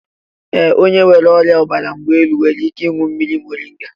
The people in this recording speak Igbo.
Ee, onye nwere ọrịa ọbara mgbali elu nwere ike ịñụ mmiri moringa.